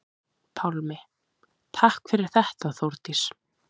Pálmi: Takk fyrir þetta Þórdís.